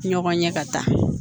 Ɲɔgɔn ɲɛ ka taa